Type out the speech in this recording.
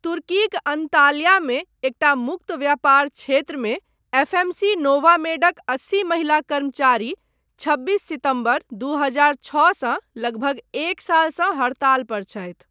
तुर्कीक अंताल्यामे एकटा मुक्त व्यापार क्षेत्रमे, एफएमसी नोवामेडक अस्सी महिला कर्मचारी छब्बीस सितम्बर, दू हजार छओसँ लगभग एक सालसँ हड़ताल पर छथि।